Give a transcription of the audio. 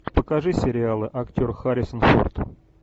покажи сериалы актер харрисон форд